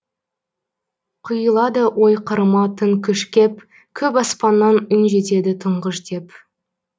құйылады ой қырыма тың күш кеп көк аспаннан үн жетеді тұңғыш деп